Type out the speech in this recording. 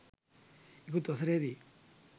ඉකුත් වසරේ දී